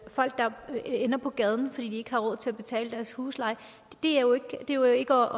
og folk der ender på gaden fordi de ikke har råd til at betale deres husleje det er jo ikke